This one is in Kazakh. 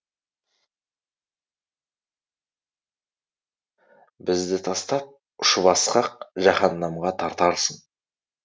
бізді тастап ұшып асқақ жаһаннамға тартарсың